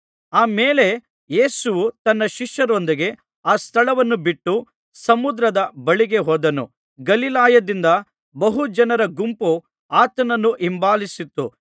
ಆ ಮೇಲೆ ಯೇಸುವು ತನ್ನ ಶಿಷ್ಯರೊಂದಿಗೆ ಆ ಸ್ಥಳವನ್ನು ಬಿಟ್ಟು ಸಮುದ್ರದ ಬಳಿಗೆ ಹೋದನು ಗಲಿಲಾಯದಿಂದ ಬಹು ಜನರ ಗುಂಪು ಆತನನ್ನು ಹಿಂಬಾಲಿಸಿತು